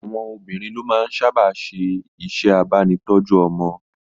Àwọn obìnrin ló máa ń sábà ṣe iṣẹ́ abánitọ́jú ọmọ